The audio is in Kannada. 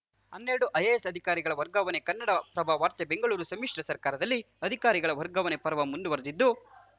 ಹನ್ನೆರಡು ಐಎಎಸ್‌ ಅಧಿಕಾರಿಗಳ ವರ್ಗಾವಣೆ ಕನ್ನಡಪ್ರಭ ವಾರ್ತೆ ಬೆಂಗಳೂರು ಸಮ್ಮಿಶ್ರ ಸರ್ಕಾರದಲ್ಲಿ ಅಧಿಕಾರಿಗಳ ವರ್ಗಾವಣೆ ಪರ್ವ ಮುಂದುವರೆದಿದ್ದು